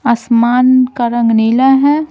आसमान का रंग नीला है।